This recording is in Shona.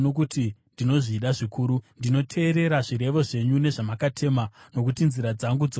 Ndinoteerera zvirevo zvenyu nezvamakatema, nokuti nzira dzangu dzose dzinozivikanwa nemi.